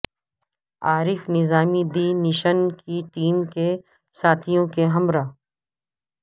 Arif Nizami the nation کی team کے ساتھیوں کے ہمراہ